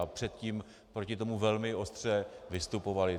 A předtím proti tomu velmi ostře vystupovali.